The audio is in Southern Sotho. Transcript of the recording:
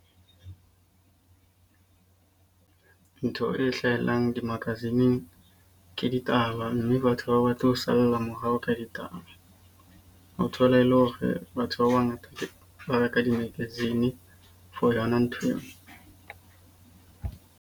Ntho e hlahellang di-magazine ke ditaba. Mme batho ha ba batle ho salla morao ka ditaba. Ho thola e le hore batho ba ba ngata ba reka di-magazine for yona ntho eo.